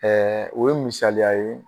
o ye misaliya ye